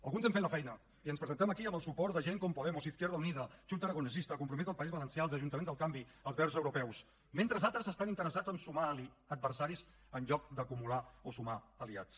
alguns hem fet la feina i ens presentem aquí amb el suport de gent com podemos izquierda unida chunta aragonesista compromís del país valencià els ajuntaments del canvi els verds europeus mentre altres estan interessats a sumar adversaris en lloc d’acumular o sumar aliats